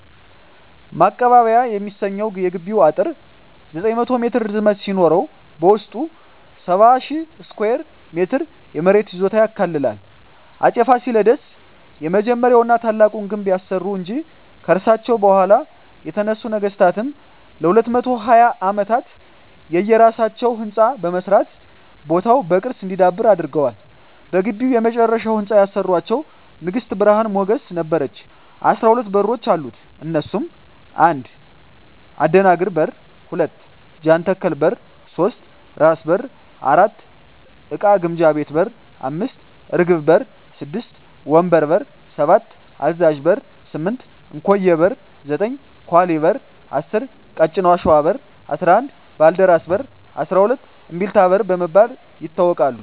ማቀባበያ የሚሰኘዉ የግቢዉ አጥር 900ሜትር ርዝመት ሲኖረዉበዉስጡ 70,000ስኩየር ሜትር የመሬት ይዞታ ያካልላል አፄ ፋሲለደስ የመጀመሪያዉና ታላቁን ግንብ ያሰሩ እንጂ ከርሳቸዉ በኋላ የተነሱ ነገስታትም ለ220ዓመታት የየራሳቸዉ ህንፃ በመስራት ቦታዉ በቅርስ እንዲዳብር አድርገዋል በግቢዉ የመጨረሻዉን ህንፃ ያሰራቸዉን ንግስት ብርሀን ሞገስ ነበረች 12በሮች አሉት እነሱም 1. አደናግር በር 2. ጃንተከል በር 3. ራስ በር 4. እቃ ግምጃ ቤት 5. እርግብ በር 6. ወንበር በር 7. አዛዥ በር 8. እንኮዬ በር 9. ኳሊ በር 10. ቀጭን አሽዋ በር 11. ባልደራስ በር 12. እምቢልታ በር በመባል ይታወቃሉ